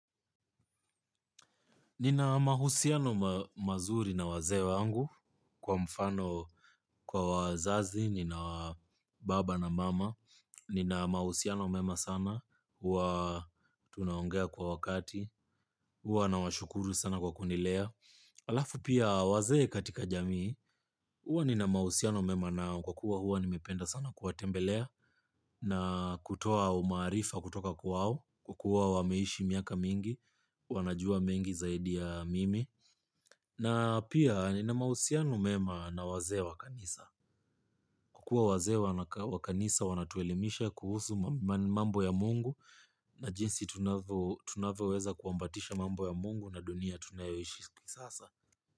Nina mahusiano mazuri na wazee wangu kwa mfano kwa wazazi, nina baba na mama, nina mahusiano mema sana, hua tunaongea kwa wakati, hua nawashukuru sana kwa kunilea. Halafu pia wazee katika jamii huwa nina mahusiano mema nao kwa kuwa huwa nimependa sana kuwatembele na kutoa maarifa kutoka kwao kwa kuwa wameishi miaka mingi wanajua mengi zaidi ya mimi. Na pia nina mahusiano mema na wazee wa kanisa. Kwa kuwa wazee wa kanisa wanatuelimisha kuhusu mambo ya mungu na jinsi tunavoweza kuambatisha mambo ya mungu na dunia tunayoishi sasa.